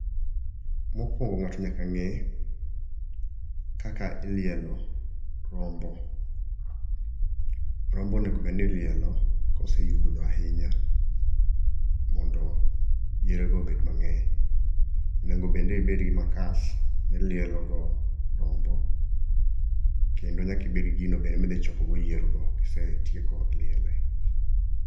Mokuongo ng'ato nyaka ng'e kaka ilielo rombo. Rombo onego bed ni ilielo kose yugno ahinya mondo yierego obed mang'eny. Onego bende ibed gi makas milielo go rombo, kendo nyaka ibed gi gino bende midhi chokogo yiergo kise liele.